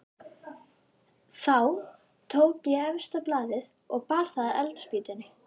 Þá tók ég efsta blaðið og bar að eldspýtunni.